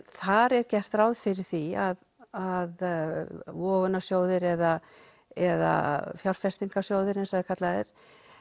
þar er gert ráð fyrir því að vogunarsjóðir eða eða fjárfestingarsjóðir eins og það kallað er